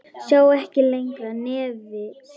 Sá ekki lengra nefi sínu.